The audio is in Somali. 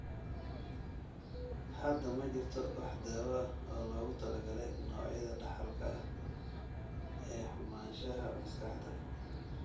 Hadda ma jirto wax daawo ah oo loogu talagalay noocyada dhaxalka ah ee xumaanshaha maskaxda.